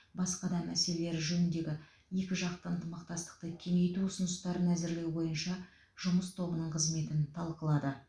басқа да мәселелері жөніндегі екіжақты ынтымақтастықты кеңейту ұсыныстарын әзірлеу бойынша жұмыс тобының қызметін талқылады